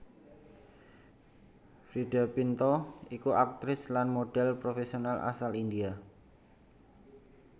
Freida Pinto iku aktris lan modhèl profèsional asal India